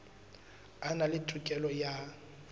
a na le tokelo ya